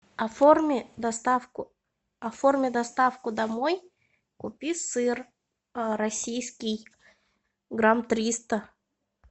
оформи доставку оформи доставку домой купи сыр российский грамм триста